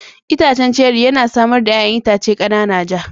Itacen ceri yana samar da 'ya'yan itace kanana ja.